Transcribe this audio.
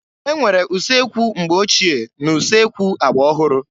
E nwere usekwu mgbe ochie na usekwu agba ọhụrụ.